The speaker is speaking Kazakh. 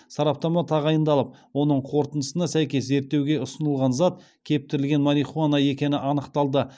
сараптама тағайындалып оның қорытындысына сәйкес зерттеуге ұсынылған зат кептірілген марихуана екені анықталды